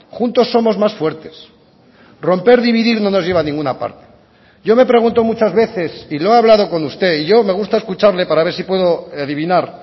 juntos somos más fuertes romper dividir no nos lleva a ninguna parte yo me pregunto muchas veces y lo he hablado con usted y yo me gusta escucharle para ver si puedo adivinar